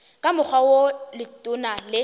ka mokgwa wo letona le